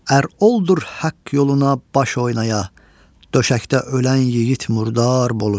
Ər oldur haqq yoluna baş oynaya, döşəkdə ölən yigit murdar bolur.